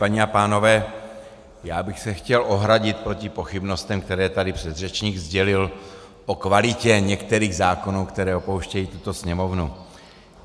Paní a pánové, já bych se chtěl ohradit proti pochybnostem, které tady předřečník sdělil, o kvalitě některých zákonů, které opouštějí tuto Sněmovnu.